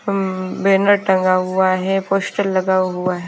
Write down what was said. उम्म banner टंगा हुआ है पोस्टर लगा हुआ है।